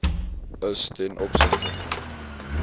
is ten opsigte